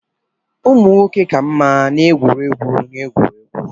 Ụmụ nwoke ka mma n'egwuregwu egwuregwu